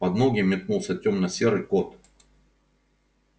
под ноги метнулся тёмно-серый кот